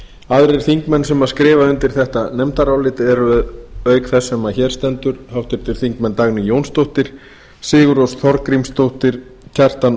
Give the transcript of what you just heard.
aðrir þingmenn sem skrifa undir þetta nefndarálit eru auk þess sem hér stendur háttvirtir þingmenn dagný jónsdóttir sigurrós þorgrímsdóttir kjartan